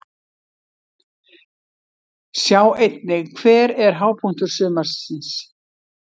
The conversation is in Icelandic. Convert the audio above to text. Sjá einnig: Hver er hápunktur sumarsins?